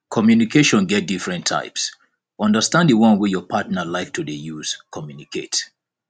communication get different types understand di one wey your partner like to de use communicate